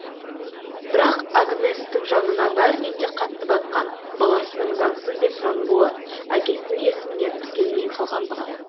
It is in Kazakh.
бірақ агнестің жанына бәрінен де қатты батқан баласының заңсыз деп танылуы әкесінің есіміне тіркелмей қалғандығы